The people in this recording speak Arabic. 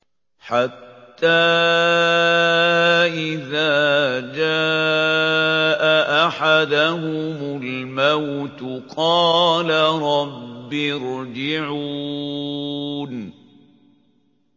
حَتَّىٰ إِذَا جَاءَ أَحَدَهُمُ الْمَوْتُ قَالَ رَبِّ ارْجِعُونِ